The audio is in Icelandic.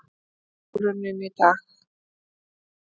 Lokatilraun í dag